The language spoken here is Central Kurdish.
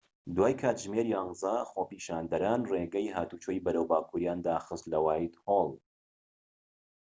دوای کاتژمێر ١١، خۆپیشاندەران ڕێگەی هاتوچۆی بەرەو باکوریان داخست لە وایتهۆڵ